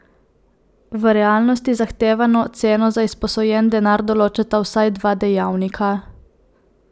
V realnosti zahtevano ceno za izposojen denar določata vsaj dva dejavnika.